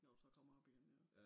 Når du så kommer op igen ja